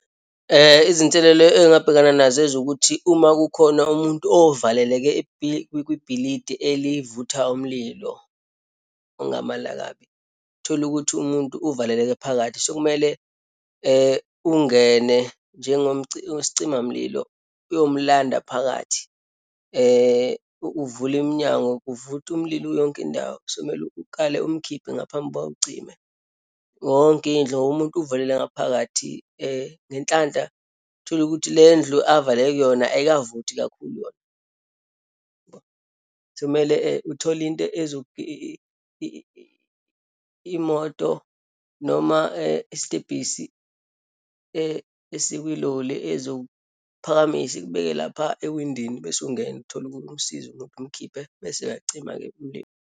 Izinselelo engabhekana nazo ezokuthi uma kukhona umuntu ovaleleke kwibhilidi elivutha umlilo, ongamalangabi. Uthole ukuthi umuntu uvaleleke phakathi, sekumele ungene njengo sicimamlilo uyomlanda phakathi, uvule iminyango, kuvutha umlilo yonke indawo. Sekumele ukale umkhiphe ngaphambi kuba awucime, yonke indlu ngoba umuntu uvalele ngaphakathi. Ngenhlanhla uthole ukuthi le ndlu avaleleke kuyona ayikavuthi kakhulu yona. Sekumele uthole into imoto noma isitebhisi esikwiloli ezokuphakamisa ikubeke lapha ewindini, bese ungena uthole usizo lokumkhiphe, bese-ke ayacima-ke umlilo.